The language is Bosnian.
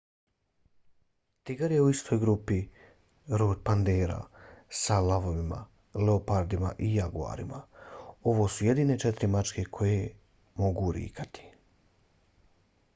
tigar je u istoj grupi rod panthera sa lavovima leopardima i jaguarima. ovo su jedine četiri mačke koje mogu rikati